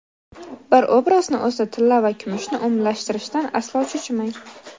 Bir obrazni o‘zida tilla va kumushni umumlashtirishdan aslo cho‘chimang.